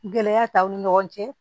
Gɛlɛya t'aw ni ɲɔgɔn cɛ